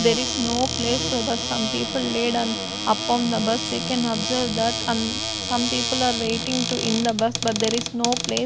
there is no place so the some people laid on upon the bus we can observe that and some people are waiting to in the bus but there is no place.